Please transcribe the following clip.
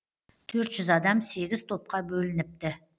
төрт жүз адам сегіз топқа бөлініпті